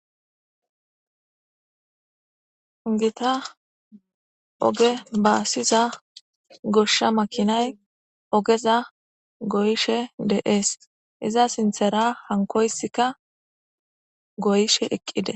Gita oge baasiza goshsha makinay ogeza goyishe de7ees iza sinthera hankoysika goyishe eqqide.